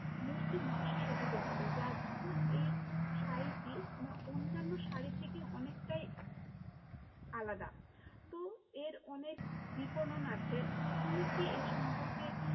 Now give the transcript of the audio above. মূর্তি নকশা শোভিত থাকে, যার জন্য এই শাড়িটি মানে অন্যান্য শাড়ির থেকে অনেকটাই আলাদা, তো এর অনেক বিপণন আছে, তো তুমি কি এর সম্পর্কে